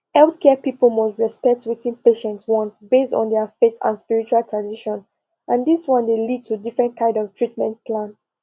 healthcare people must respect wetin patients want based on their faith and spiritual tradition and this one dey lead to different kind of treatment plan